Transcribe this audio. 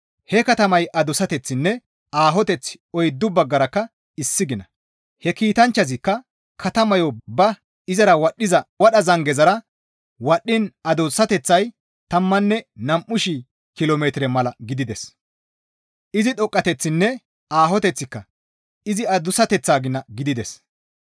He katamay adussateththinne aahoteththi oyddu baggarakka issi gina; he kiitanchchazikka katamayo ba izara wadhdhiza wadha zangezara wadhdhiin adussateththay tammanne nam7u shii kilo metire mala gidides; izi dhoqqateththinne aahoteththika izi adussateththaa gina gidides.